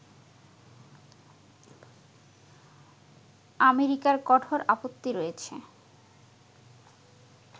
আমেরিকার কঠোর আপত্তি রয়েছে